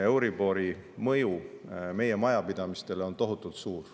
Euribori mõju meie majapidamistele on tohutult suur.